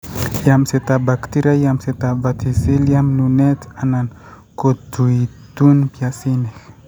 yamsetap baktiria, yamsetap verticillium, nunet anan kotuitun piasinik